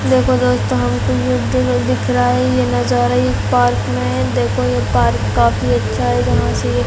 देखो दोस्तों हमको ये दि दिख रहा है ये नज़ारा इस पार्क में देखो ये पार्क काफी अच्छा है यहाँ से--